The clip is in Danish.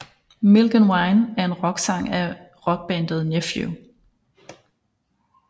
Milk and Wine er en rocksang af rockbandet Nephew